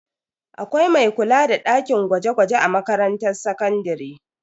Akwai mai kula da dakin gwaje-gwaje a makarantar sakandare.